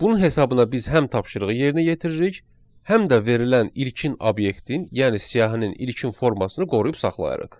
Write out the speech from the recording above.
Bunun hesabına biz həm tapşırığı yerinə yetiririk, həm də verilən ilkin obyektin, yəni siyahının ilkin formasını qoruyub saxlayırıq.